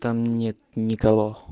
там нет никого